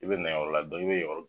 I bɛ na yɔrɔ la i bɛ yen yɔrɔ.